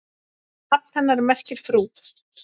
Nafn hennar merkir frú.